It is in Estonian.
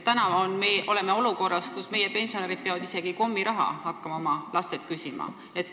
Meie oleme olukorras, kus pensionärid peavad isegi kommiraha oma lastelt küsima.